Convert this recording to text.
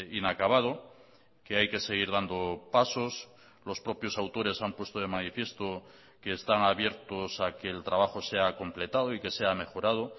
inacabado que hay que seguir dando pasos los propios autores han puesto de manifiesto que están abiertos a que el trabajo sea completado y que sea mejorado